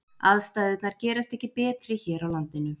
Aðstæðurnar gerast ekki betri hér á landinu.